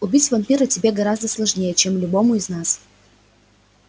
убить вампира тебе гораздо сложнее чем любому из нас